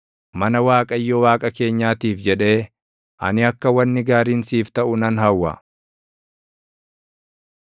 Mana Waaqayyo Waaqa keenyaatiif jedhee, ani akka wanni gaariin siif taʼu nan hawwa.